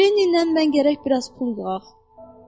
Lenni ilə mən gərək biraz pul yığaq.